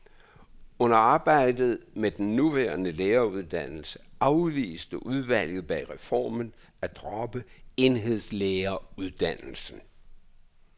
Under arbejdet med den nuværende læreruddannelse afviste udvalget bag reformen at droppe enhedslæreruddannelsen.